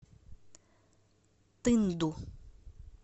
тынду